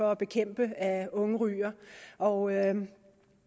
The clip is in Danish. for at bekæmpe at unge ryger og